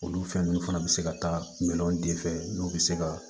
Olu fɛn ninnu fana bɛ se ka taa minɛnw de fɛ n'u bɛ se ka